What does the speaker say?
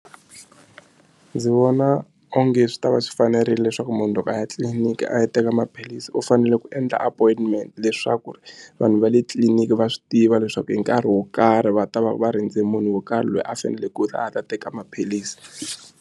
Ndzi vona onge swi ta va swi fanerile leswaku munhu loko a ya etliliniki a ya teka maphilisi u fanele ku endla appointment leswaku vanhu va le tliliniki va swi tiva leswaku hi nkarhi wo karhi va ta va va rindze munhu wo karhi loyi a faneleke ku ta a ta teka maphilisi.